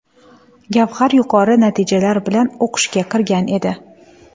Gavhar yuqori natijalar bilan o‘qishga kirgan edi.